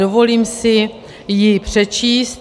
Dovolím si ji přečíst.